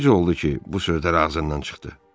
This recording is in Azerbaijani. Necə oldu ki, bu sözlər ağzından çıxdı?